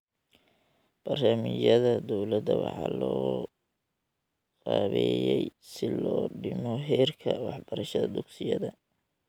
Barnaamijyada dawladda waxaa loo qaabeeyey si loo dhimo heerka waxbarashada dugsiyada.